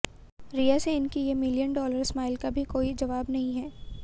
रिया सेन की ये million dollar smile का भी कोई जवाब नहीं है